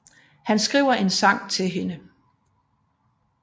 Han skriver en sang til hende